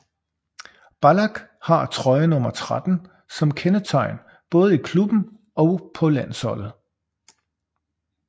Ballack har trøjenummer 13 som kendetegn både i klubben og på landsholdet